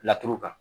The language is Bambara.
Laturu kan